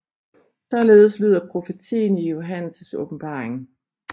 Således lyder profetien i Johannes Åbenbaring